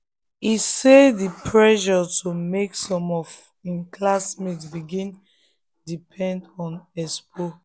e talk say the pressure to pass make some of im classmates begin depend on expo.